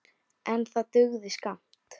En það dugði skammt.